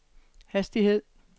hastighed